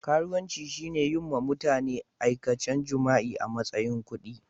Karuwanci shine yin ma mutane aikacen jima'i a matsayin kudi.